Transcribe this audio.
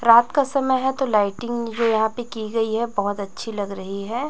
रात का समय है तो लाइटिंग जो यहां पे की गई है बहुत अच्छी लग रही है।